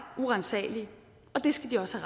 uransagelige og det skal de også